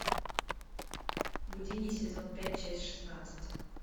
гудини сезон пять часть шестнадцать